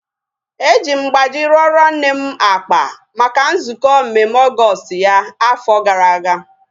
Eji m mgbaji rụọro nne m akpa maka nzukọ mmemme Ọgọọst ya afọ gara aga